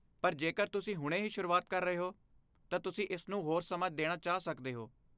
ਪਰ ਜੇਕਰ ਤੁਸੀਂ ਹੁਣੇ ਹੀ ਸ਼ੁਰੂਆਤ ਕਰ ਰਹੇ ਹੋ, ਤਾਂ ਤੁਸੀਂ ਇਸ ਨੂੰ ਹੋਰ ਸਮਾਂ ਦੇਣਾ ਚਾਹ ਸਕਦੇ ਹੋ।